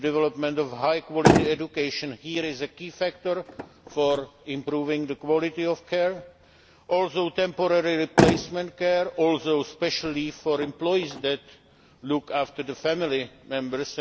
The development of high quality education is a key factor for improving the quality of care, as are temporary replacement care and special leave for employees who look after family members.